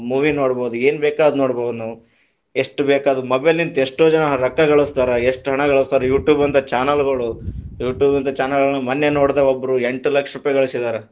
Movie ನೋಡಬಹುದು ಏನ್ ಬೇಕಾದ್ರು ನೋಡ್ಬಹುದ್ ನಾವ್, ಎಷ್ಟ ಬೇಕಾದ mobile ಎಷ್ಟೋ ಜನಾ ರೊಕ್ಕಗಳಸ್ತಾರ ಎಷ್ಟ ಹಣಗಳಸ್ತರ, YouTube ಅಂತ channel ಗಳು YouTube ಅಂತ channel ಗಳನ್ನು ಮೊನ್ನೆ ನೋಡದೆ ಒಬ್ರು ಎಂಟ ಲಕ್ಷ ರೂಪಾಯಿಗಳ್ಸಿದಾರ.